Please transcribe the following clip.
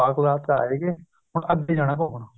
ਹੁਣ ਅੱਗੇ ਜਾਣਾ ਘੁੱਮਣ